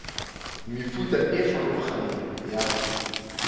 mefuta e e farologaneng ya